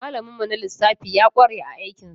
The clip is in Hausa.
Malamin mu na lissafi ya ƙware a aikin sa.